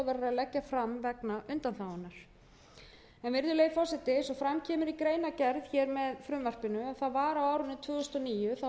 leggja fram vegna undanþágunnar virðulegi forseti eins og fram kemur í greinargerð með frumvarpinu var á árinu tvö þúsund og níu þá barst